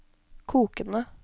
kokende